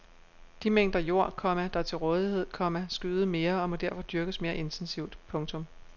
De mængder jord, komma der er til rådighed, komma skal yde mere og må derfor dyrkes mere intensivt. punktum